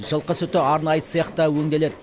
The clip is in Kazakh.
жылқы сүті арнайы цехта өңделеді